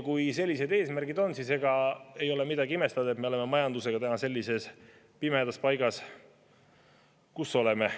Kui sellised eesmärgid on, siis ega ei ole midagi imestada, et me oleme majandusega täna sellises pimedas paigas, kus me oleme.